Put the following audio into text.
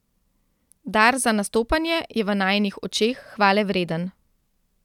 Dar za nastopanje je v najinih očeh hvalevreden.